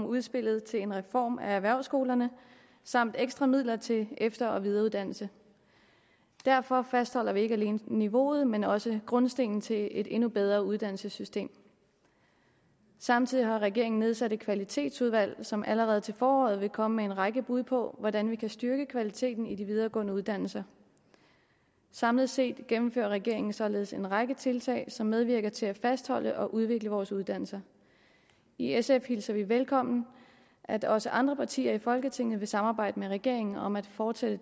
udspillet til en reform af erhvervsskolerne samt ekstra midler til efter og videreuddannelse derfor fastholder vi ikke alene niveauet men også grundstenen til et endnu bedre uddannelsessystem samtidig har regeringen nedsat et kvalitetsudvalg som allerede til foråret vil komme med en række bud på hvordan vi kan styrke kvaliteten i de videregående uddannelser samlet set gennemfører regeringen således en række tiltag som medvirker til at fastholde og udvikle vores uddannelser i sf hilser vi det velkommen at også andre partier i folketinget vil samarbejde med regeringen om at fortsætte